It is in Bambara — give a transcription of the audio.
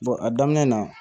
a daminɛ na